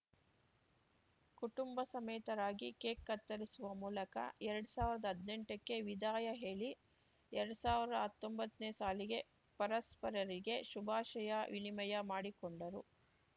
ಕುಟುಂಬ ಸಮೇತರಾಗಿ ಕೇಕ್‌ ಕತ್ತರಿಸುವ ಮೂಲಕ ಎರಡ್ ಸಾವಿರ್ದಾ ಹದ್ನೆಂಟಕ್ಕೆ ವಿದಾಯ ಹೇಳಿ ಎರಡ್ ಸಾವಿರ್ದಾ ಹತ್ತೊಂಬತ್ತನೇ ಸಾಲಿಗೆ ಪರಸ್ಪರರಿಗೆ ಶುಭಾಶಯ ವಿನಿಮಯ ಮಾಡಿಕೊಂಡರು